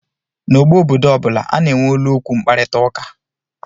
N'ógbè obodo ọ bụla, a na-enwe olu okwu mkparịta ụka